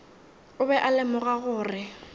o be a lemoga gore